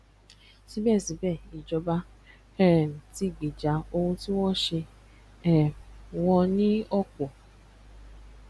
síbẹ̀ síbẹ̀ ìjọba um tí gbèjà ohun tí wọ́n ṣe um wọn ní ọ̀pọ̀